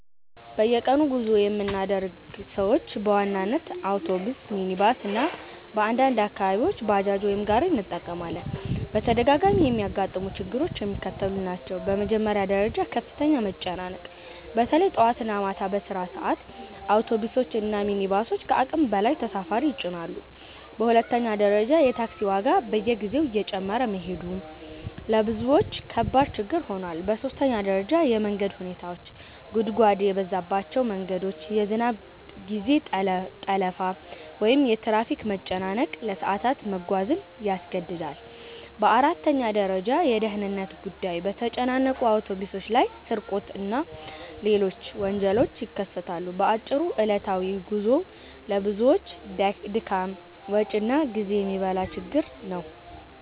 በየቀኑ ጉዞ የምናደርግ ሰዎች በዋናነት አውቶቡስ፣ ሚኒባስ (ታክሲ) እና በአንዳንድ አካባቢዎች ባጃጅ ወይም ጋሪ እንጠቀማለን። በተደጋጋሚ የሚያጋጥሙ ችግሮች የሚከተሉት ናቸው፦ በመጀመሪያ ደረጃ ከፍተኛ መጨናነቅ – በተለይ ጠዋት እና ማታ በስራ ሰዓት አውቶቡሶች እና ሚኒባሶች ከአቅም በላይ ተሳፋሪ ይጭናሉ። በሁለተኛ ደረጃ የታክሲ ዋጋ በየጊዜው እየጨመረ መሄዱ ለብዙዎች ከባድ ችግር ሆኗል። በሦስተኛ ደረጃ የመንገድ ሁኔታዎች – ጉድጓድ የበዛባቸው መንገዶች፣ የዝናብ ጊዜ ጠለፋ ወይም የትራፊክ መጨናነቅ ለሰዓታት መጓዝን ያስገድዳል። በአራተኛ ደረጃ የደህንነት ጉዳይ – በተጨናነቁ አውቶቡሶች ላይ ስርቆት እና ሌሎች ወንጀሎች ይከሰታሉ። በአጭሩ ዕለታዊ ጉዞው ለብዙዎች ድካም፣ ወጪ እና ጊዜ የሚበላ ችግር ነው።